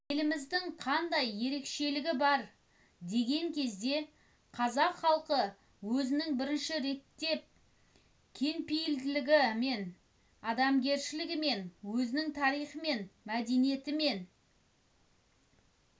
еліміздің қандай ерекшелігі бар деген кезде қазақ халқы өзінің бірінші реттен кеңпейлідлігімен адамгершілігімен өзінің тарихымен мәдениетімен